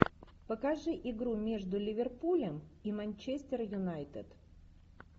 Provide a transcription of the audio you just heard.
покажи игру между ливерпулем и манчестер юнайтед